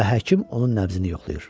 Və həkim onun nəbzini yoxlayır.